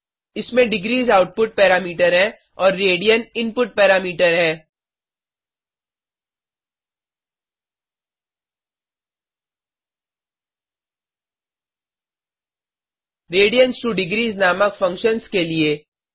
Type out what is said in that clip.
इसमें degrees output parameter हैं और रेडियन इनपुट पैरामीटर है radians2डिग्रीस नामक फंक्शन्स के लिए